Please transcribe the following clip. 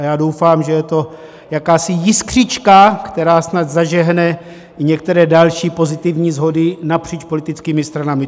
A já doufám, že je to jakási jiskřička, která snad zažehne některé další pozitivní shody napříč politickými stranami.